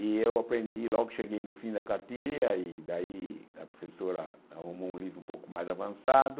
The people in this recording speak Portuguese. E eu aprendi logo que cheguei no fim da cartilha, e daí a professora arrumou um livro um pouco mais avançado,